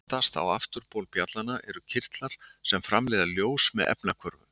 Aftast á afturbol bjallanna eru kirtlar sem framleiða ljós með efnahvörfum.